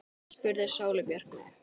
spurði Sóley Björk mig.